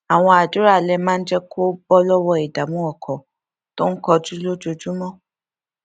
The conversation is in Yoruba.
àwọn àdúrà alẹ máa ń jé kó bó lówó ìdààmú ọkàn tó ń kojú lójúmọ